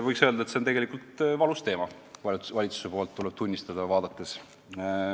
Tuleb tunnistada, et see on tegelikult valus teema ka valitsuse poolt vaadates.